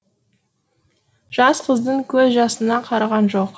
жас қыздың көз жасына қараған жоқ